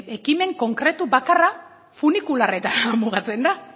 ekimen konkretu bakarra funikularretan mugatzen da